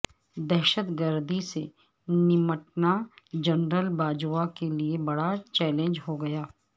دہشت گردی سے نمٹنا جنرل باجوہ کے لیے بڑا چیلنج ہو گا